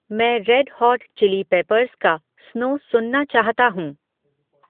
मैं Red Hot Chili Peppers का स्नो सुनना चाहता हूँ